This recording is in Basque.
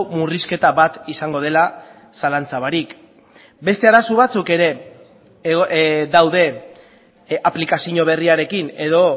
murrizketa bat izango dela zalantza barik beste arazo batzuek ere daude aplikazio berriarekin edo